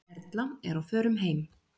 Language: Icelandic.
Erla er á förum heim.